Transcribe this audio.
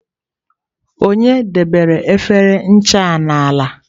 Onye debere efere ncha a n'ala?